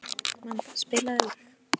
Vanda, spilaðu lag.